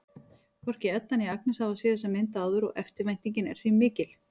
Hvorki Edda né Agnes hafa séð þessa mynd áður og eftirvæntingin er því mikill.